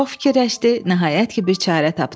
Çox fikirləşdi, nəhayət ki, bir çarə tapdı.